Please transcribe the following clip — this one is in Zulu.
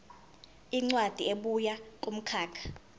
incwadi ebuya kumkhakha